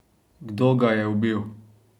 Kdo ga je ubil?